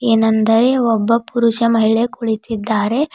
ಏನೆಂದರೆ ಒಬ್ಬ ಪುರುಷ ಮಹಿಳೆ ಕುಳಿತಿದ್ದಾರೆ.